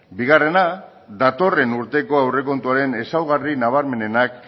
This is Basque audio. bigarrena datorren urteko aurrekontuaren ezaugarri nabarmenenak